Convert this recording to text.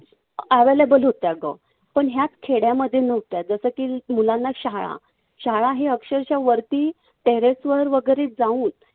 Available होत्या गं. पण या खेड्यामध्ये नव्हत्या. जसं की मुलांना शाळा. शाळा ही अक्षरशः वरती terrace वर वैगरे जाऊन